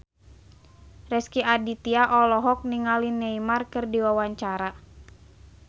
Rezky Aditya olohok ningali Neymar keur diwawancara